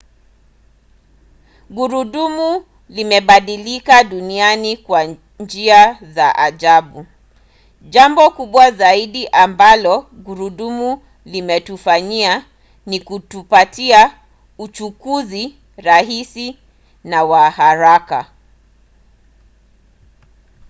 gurudumu limebadilisha dunia kwa njia za ajabu. jambo kubwa zaidi ambalo gurudumu limetufanyia ni kutupatia uchukuzi rahisi na wa haraka